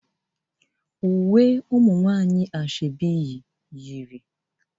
umunwanyi asoebi yi uwe